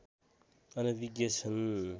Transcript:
अनभिज्ञ छन्